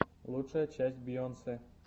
лучшая часть бейонсе